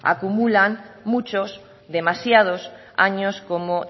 acumulan muchos demasiados años como